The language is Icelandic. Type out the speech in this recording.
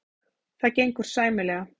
Það gengur sæmilega.